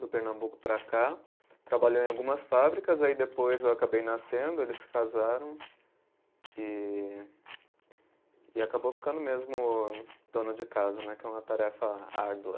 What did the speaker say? Do Pernambuco para cá, trabalhou em algumas fábricas, aí depois eu acabei nascendo, eles se casaram e e acabou ficando mesmo dona de casa né, que é uma tarefa árdua.